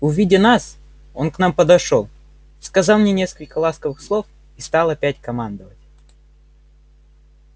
увидя нас он к нам подошёл сказал мне несколько ласковых слов и стал опять командовать